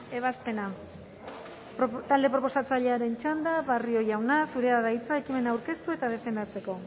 ebazpena talde proposatzailearen txanda barrio jauna zurea da hitza ekimena aurkeztu eta defendatzeko